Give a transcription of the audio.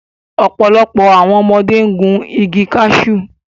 Ọ̀pọ̀lọpọ̀ àwọn ọmọdé gun igi kashu